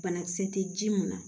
Banakisɛ tɛ ji mun na